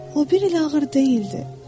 O bir elə ağır deyildi.